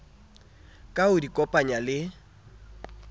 ka ho di kopanya le